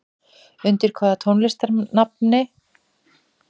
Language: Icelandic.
Undir hvaða listamannsnafni er tónlistarkonan Guðrún Ýr Eyfjörð þekkt?